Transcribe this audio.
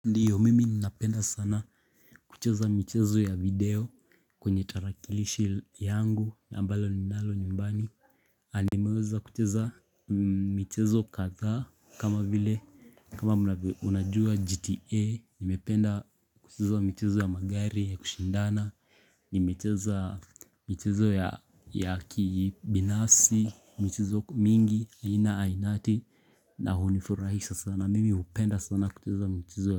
Ndiyo mimi ninapenda sana kucheza michezo ya video kwenye tarakilishi yangu na ambalo ninalo nyumbani nanimeweza kucheza michezo kadha kama vile kama unajua gta nimependa kucheza michezo ya magari ya kushindana Nimecheza michezo ya kibinafsi michezo mingi aina ainati na hunifurahisa sana mimi hupenda sana kucheza michezo ya.